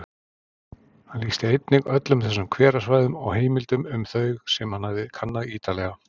Hann lýsti einnig öllum þessum hverasvæðum og heimildum um þau sem hann hafði kannað ítarlega.